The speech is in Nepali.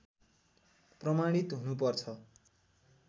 प्रमाणित हुनु पर्छ